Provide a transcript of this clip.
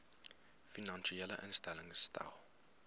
finansiële instellings stel